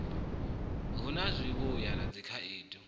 hu na zwivhuya na dzikhaedu